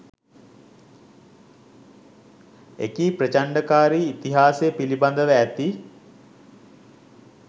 එකී ප්‍රචණ්ඩකාරී ඉතිහාසය පිළිබඳව ඇති